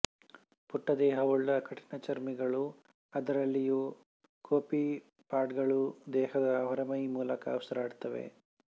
ಪುಟ್ಟ ದೇಹವುಳ್ಳ ಕಠಿಣಚರ್ಮಿಗಳು ಅದರಲ್ಲಿಯೂ ಕೋಪಿಪಾಡ್ಗಳು ದೇಹದ ಹೊರಮೈ ಮೂಲಕ ಉಸಿರಾಡುತ್ತವೆ